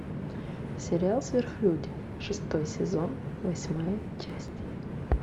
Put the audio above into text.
сериал сверхлюди шестой сезон восьмая часть